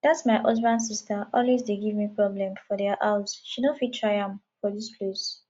dat my husband sister always dey give me problem for dia house she no fit try am for dis place